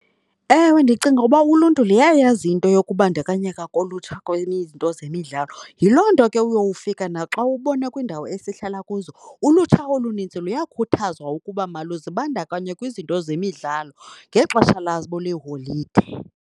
Ewe, ndicinga ukuba uluntu luyayazi into yokubandakanyeka kolutsha izinto zemidlalo. Yiloo nto ke uyowufika naxa ubona kwiindawo esihlala kuzo ulutsha olinintsi luyakhuthazwa ukuba maluzibandakanye kwizinto zemidlalo ngexesha labo leholide.